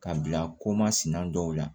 Ka bila koma sina dɔw la